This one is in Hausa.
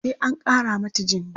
sai an Kara mata jini